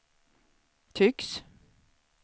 tycks